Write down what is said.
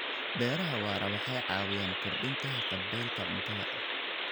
Beeraha waara waxay caawiyaan kordhinta haqab-beelka cuntada.